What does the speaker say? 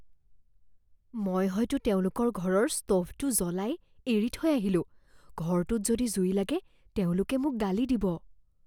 মই হয়তো তেওঁলোকৰ ঘৰৰ স্ত'ভটো জ্বলাই এৰি থৈ আহিলোঁ। ঘৰটোত যদি জুই লাগে তেওঁলোকে মোক গালি দিব।